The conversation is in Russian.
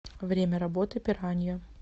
время работы пиранья